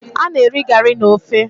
Ana eri gari na ofe